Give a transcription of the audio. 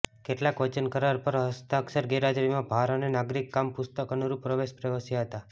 કેટલાક વચન કરાર પર હસ્તાક્ષર ગેરહાજરીમાં ભાર અને નાગરિક કામ પુસ્તક અનુરૂપ પ્રવેશ પ્રવેશ્યા હતા